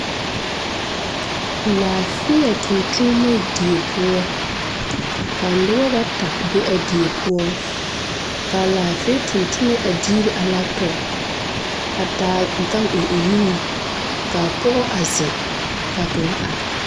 Laafeɛ tontonnema die poɔ ka nobɔ bata be a die poɔ kaa laafeɛ tontonnɔ a diire a laptɔp a taa gan eŋ o nuŋ kaa pɔgɔ a zeŋ kaa kaŋa are.